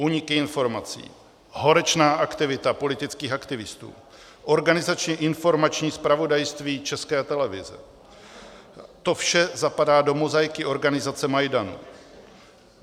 Úniky informací, horečná aktivita politických aktivistů, organizačně informační zpravodajství České televize, to vše zapadá do mozaiky organizace Majdan.